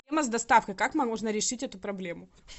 с доставкой как можно решить эту проблему